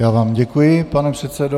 Já vám děkuji, pane předsedo.